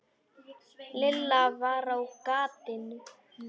Lilla var á gatinu.